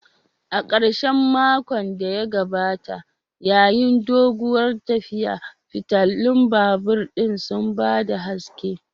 A karshen makon da ya gabata, yayin doguwar tafiya, fitilun babur ɗin sun ba da haske